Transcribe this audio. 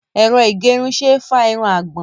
Ẹ̀rọ ìgẹrun ṣe é fá irun àgbọ̀n.